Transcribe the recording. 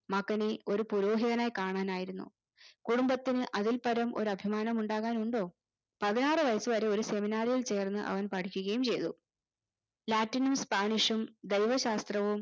മകനെ ഒരു പുരോഹിതനായി കാണാനായിരുന്നു കുടുംബത്തിന് അതിൽപരം ഒരു അഭിമാനമുണ്ടാകാനുണ്ടോ പതിനാറു വയസ് വരെ ഒരു seminary യിൽ ചേർന്ന് അവൻ പഠിക്കുകയും ചെയ്തു latin ഉം spanish ഉം ജൈവശാസ്ത്രവും